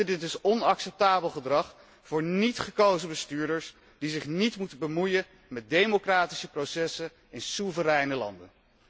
Dit is onacceptabel gedrag voor niet gekozen bestuurders, die zich niet moeten bemoeien met democratische processen in soevereine landen.